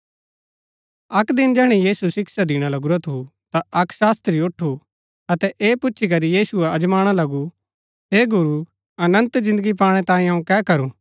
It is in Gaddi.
अक्क दिन जैहणै यीशु शिक्षा दिणा लगुरा थू ता अक्क शास्त्री ऊठु अतै ऐह पुच्छी करी यीशुओ अजमाणा लगु हे गुरू अनन्त जिन्दगी पाणै तांयें अऊँ कै करू